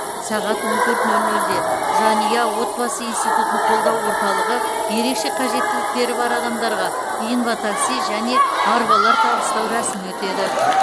сағат он төрт нөл нөлде жанұя отбасы институтын қолдау орталығы ерекше қажеттіліктері бар адамдарға инватакси және арбалар табыстау рәсімі өтеді